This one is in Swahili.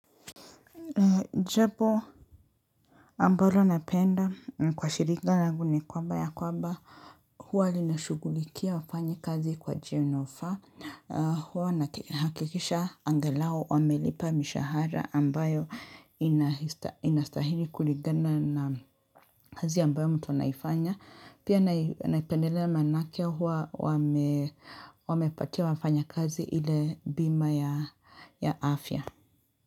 Jabo ambalo napenda kwa shirika rangu ni kwamba ya kwamba huwa linashugulikia wafanyikazi kwa njia inayofaa huwa naki inahakikisha angalau wamelipa mishahara ambayo inasta inastahili kulingana na kazi ambayo mtu anaifanya pia nai naipendelea maanake huwa wame wamepatia wafanyakazi ile bima ya afya.